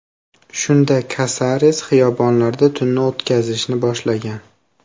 Shunda Kasares xiyobonlarda tunni o‘tkazishni boshlagan.